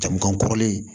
Jamu kan kɔrɔlen